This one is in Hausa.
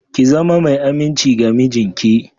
Ki zama mai aminci ga mijinki